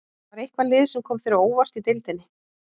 Var eitthvað lið sem kom þér á óvart í deildinni?